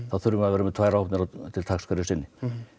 þá þurfum við að vera með tvær áhafnir til taks hverju sinni